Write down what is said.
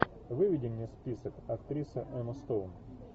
выведи мне список актриса эмма стоун